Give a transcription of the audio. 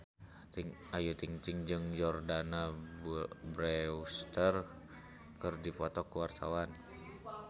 Ayu Ting-ting jeung Jordana Brewster keur dipoto ku wartawan